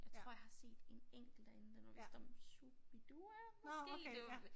Jeg tror jeg har set en enkelt derinde den var vist om Shu-bi-dua måske det